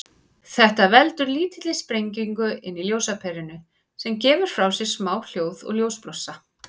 Þetta veldur lítilli sprengingu inni í ljósaperunni, sem gefur frá sér smá hljóð og ljósblossa.